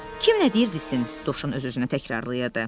Kim nə deyir desin, Dovşan öz-özünə təkrarlayırdı.